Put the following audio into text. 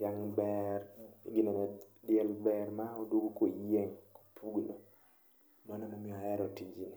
dhiang' ber, ginene, diel ber ma a oduongo koyieng', opugno. Mano emomiyo ahero tijni.